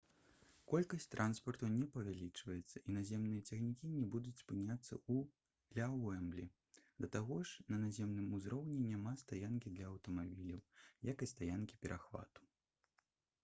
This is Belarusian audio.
колькасць транспарту не павялічваецца і наземныя цягнікі не будуць спыняцца ля «уэмблі» да таго ж на наземным узроўні няма стаянкі для аўтамабіляў як і стаянкі-перахвату